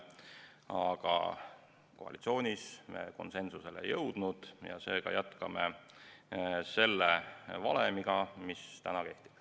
Aga koalitsioonis me konsensusele ei jõudnud ja seega jätkame selle valemiga, mis praegu kehtib.